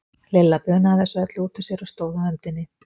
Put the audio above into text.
Lilla bunaði þessu öllu út úr sér og stóð á öndinni.